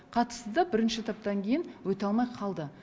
қатысты да бірінші этаптан кейін өте алмай қалды